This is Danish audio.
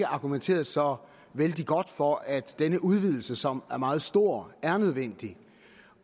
argumenteret så vældig godt for at denne udvidelse som er meget stor er nødvendig